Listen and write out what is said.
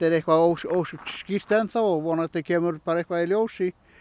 eitthvað óskýrt enn þá og vonandi kemur bara eitthvað í ljós